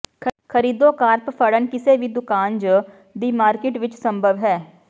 ਖਰੀਦੋ ਕਾਰਪ ਫੜਨ ਕਿਸੇ ਵੀ ਦੁਕਾਨ ਜ ਦੀ ਮਾਰਕੀਟ ਵਿੱਚ ਸੰਭਵ ਹੈ